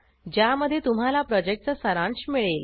ज्यामध्ये तुम्हाला प्रॉजेक्टचा सारांश मिळेल